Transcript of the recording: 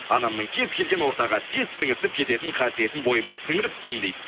анамның кез келген ортаға тез сіңісіп кететін қасиетін бойыма сіңіріппін дейді